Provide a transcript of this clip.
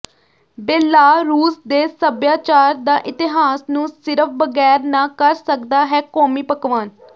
Belarus ਦੇ ਸਭਿਆਚਾਰ ਦਾ ਇਤਿਹਾਸ ਨੂੰ ਸਿਰਫ਼ ਬਗੈਰ ਨਾ ਕਰ ਸਕਦਾ ਹੈ ਕੌਮੀ ਪਕਵਾਨ